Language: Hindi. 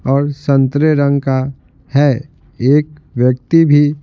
और संतरे रंग का है एक व्यक्ति भी--